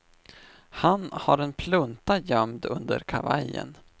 Han har en plunta gömd under kavajen.